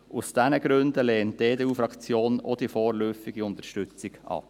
Aus diesen Gründen lehnt die EDU-Fraktion auch die vorläufige Unterstützung ab.